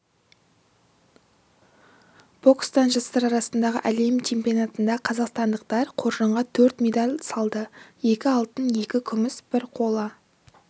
бокстан жастар арасындағы әлем чемпионатында қазақстандықтар қоржынға төрт медаль салды екі алтын екі күміс бір қола